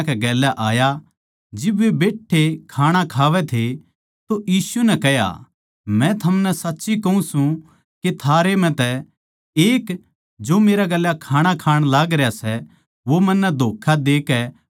जिब वे बैठ्ठे खाणा खावै थे तो यीशु नै कह्या मै थमनै साच्ची कहूँ सूं के थारै म्ह तै एक जो मेरै गेल्या खाणा खाण लागरया सै वो मन्नै धोक्खा देकै पकड़वावैगा